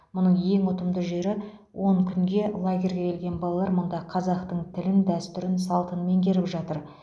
мұның ең ұтымды жері он күнге лагерьге келген балалар мұнда қазақтың тілін дәстүр салтын меңгеріп жатыр